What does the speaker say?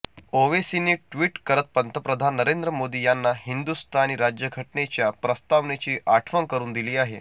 ओवेसींनी tweet करत पंतप्रधान नरेंद्र मोदी यांना हिंदुस्थानी राज्यघटनेच्या प्रस्तावनेची आठवण करून दिली आहे